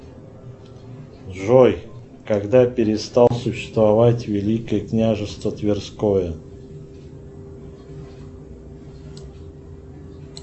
джой когда перестало существовать великое княжество тверское